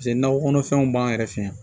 Paseke nakɔ kɔnɔfɛnw b'an yɛrɛ fɛ yan